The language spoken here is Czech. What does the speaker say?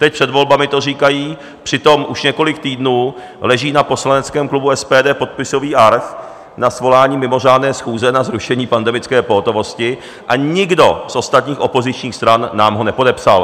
Teď před volbami to říkají, přitom už několik týdnů leží na poslaneckém klubu SPD podpisový arch na svolání mimořádné schůze na zrušení pandemické pohotovosti a nikdo z ostatních opozičních stran nám ho nepodepsal.